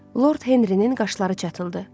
Lord Henrinin qaşları çatıldı.